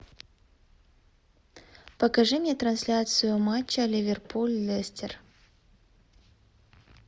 покажи мне трансляцию матча ливерпуль лестер